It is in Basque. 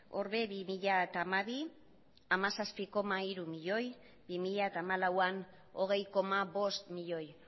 hor ere bi mila hamabian hamazazpi koma hiru milioi bi mila hamalauean hogei koma bost milioi